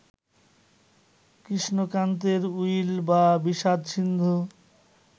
কৃষ্ণকান্তের will বা বিষাদ-সিন্ধু